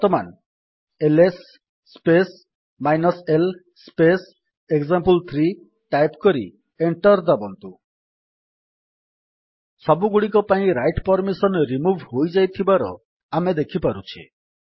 ବର୍ତ୍ତମାନ LS space l space example three type କରି enter ଦାବନ୍ତୁ ସବୁଗୁଡିକ ପାଇଁ ରାଇଟ୍ ପର୍ମିସନ୍ ରିମୁଭ୍ ହୋଇଯାଇଥିବାର ଆମେ ଦେଖିପାରୁଛେ